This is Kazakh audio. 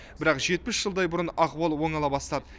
бірақ жетпіс жылдай бұрын ахуал оңала бастады